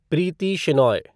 Preeti Shenoy